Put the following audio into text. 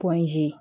Pɔnzi